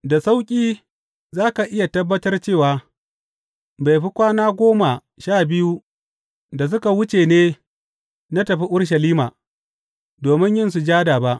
Da sauƙi za ka iya tabbatar cewa, bai fi kwana goma sha biyu da suka wuce ne na tafi Urushalima, domin yin sujada ba.